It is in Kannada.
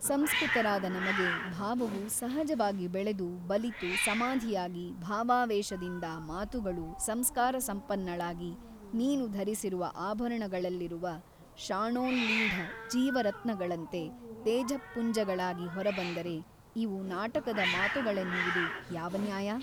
ಸಂಸ್ಕೃತರಾದ ನಮಗೆ ಭಾವವು ಸಹಜವಾಗಿ ಬೆಳೆದು ಬಲಿತು ಸಮಾಧಿಯಾಗಿ ಭಾವಾವೇಶದಿಂದ ಮಾತುಗಳೂ ಸಂಸ್ಕಾರಸಂಪನ್ನಳಾಗಿ ನೀನು ಧರಿಸಿರುವ ಆಭರಣಗಳಲ್ಲಿರುವ ಶಾಣೋಲ್ಲೀಢ ಜೀವರತ್ನಗಳಂತೆ ತೇಜಃಪುಂಜಗಳಾಗಿ ಹೊರಬಂದರೆ ಇವು ನಾಟಕದ ಮಾತುಗಳೆನ್ನುವುದು ಯಾವ ನ್ಯಾಯ?